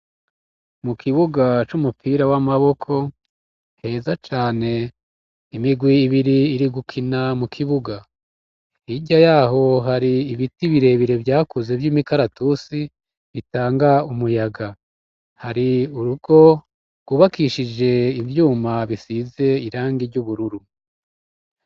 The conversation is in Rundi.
mu kibuga c'umupira w'amaboko heza cane imigwi ibiri iri gukina mu kibuga hirya yaho hari ibiti birebire vyakuze vy'imikaratusi bitanga umuyaga hari urugo gwubakishije ivyuma bisize irangi ry'ubururu